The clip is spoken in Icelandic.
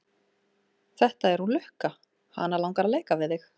Þetta er hún Lukka, hana langar að leika við þig.